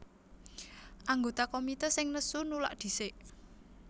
Anggota komité sing nesu nulak dhisik